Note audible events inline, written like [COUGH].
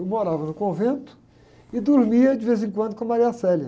Eu morava no convento e dormia de vez em quando com a. [UNINTELLIGIBLE]